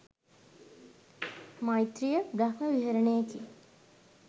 මෛත්‍රීය, බ්‍රහ්ම විහරණයකි.